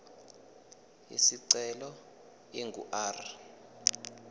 isicelo ingu r